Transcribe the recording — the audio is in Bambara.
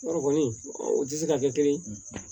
O kɔni o tɛ se ka kɛ kelen